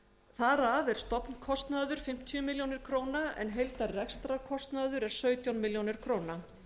þar af er stofnkostnaður fimmtíu milljónir króna en heildar rekstrarkostnaður er sautján milljónir króna